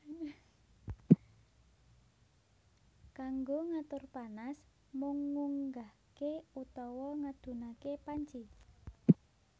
Kanggo ngatur panas mung ngunggahke utawa ngedhunake panci